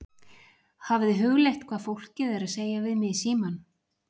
Hafið þið hugleitt hvað fólkið er að segja við mig í símann?